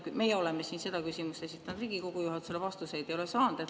Meie oleme siin seda küsimust esitanud Riigikogu juhatusele, vastuseid ei ole saanud.